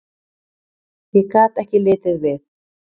Ég gat ekki litið við.